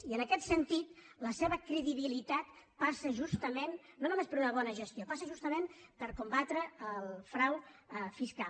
i en aquest sentit la se·va credibilitat passa justament no només per una bona gestió passa justament per combatre el frau fiscal